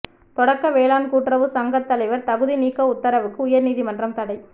தொடக்க வேளாண் கூட்டுறவு சங்கத் தலைவா் தகுதி நீக்க உத்தரவுக்கு உயா்நீதிமன்றம் தடை